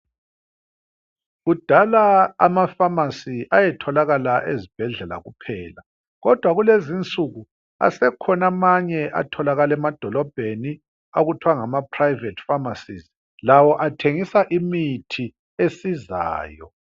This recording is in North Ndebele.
Kudala amafasi ayetholakala ezibhedlela kuphela kodwa kulezi nsuku asekhona amanye atholakalaa emadolobheni. Okuthiwa ngamaphurayivethi famasi lawo athengisa imithi esizayo.